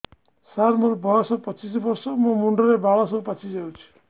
ସାର ମୋର ବୟସ ପଚିଶି ବର୍ଷ ମୋ ମୁଣ୍ଡରେ ବାଳ ସବୁ ପାଚି ଯାଉଛି